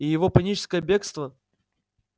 и его паническое бегство